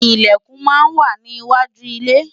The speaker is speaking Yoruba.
Ìlẹ̀kùn máa ń wà ní iwájú ilé